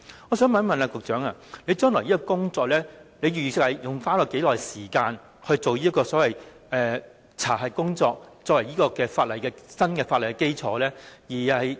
我想問局長，預算未來花多少時間進行所謂的查核工作，作為新法例的基礎？